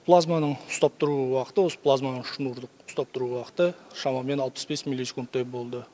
плазманың ұстап тұру уақыты осы плазманың шнурдық ұстап тұру уақыты шамамен алпыс бес милисекундтай болды